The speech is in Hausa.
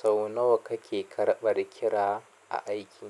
Sau nawa kake karɓar kira a aiki?